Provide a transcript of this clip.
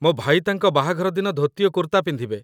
ମୋ ଭାଇ ତାଙ୍କ ବାହାଘର ଦିନ ଧୋତି ଓ କୁର୍ତ୍ତା ପିନ୍ଧିବେ